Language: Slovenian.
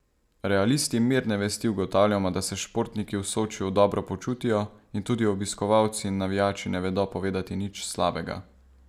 Realisti mirne vesti ugotavljamo, da se športniki v Sočiju dobro počutijo in tudi obiskovalci in navijači ne vedo povedati nič slabega.